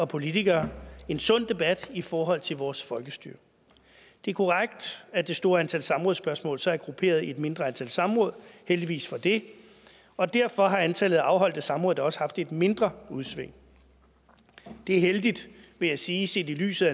politikere en sund debat i forhold til vores folkestyre det er korrekt at det store antal samrådsspørgsmål så er grupperet i et mindre antal samråd heldigvis for det og derfor har antallet af afholdte samråd da også haft et mindre udsving det er heldigt vil jeg sige set i lyset